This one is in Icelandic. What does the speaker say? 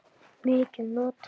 mikið notað?